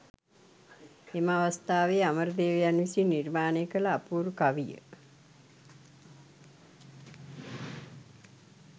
එම අවස්ථාවේ අමරදේවයන් විසින් නිර්මාණය කළ අපූරු කවිය